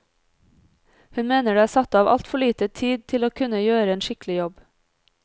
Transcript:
Hun mener det er satt av altfor lite tid til å kunne gjøre en skikkelig jobb.